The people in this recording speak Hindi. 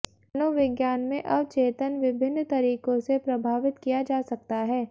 मनोविज्ञान में अवचेतन विभिन्न तरीकों से प्रभावित किया जा सकता है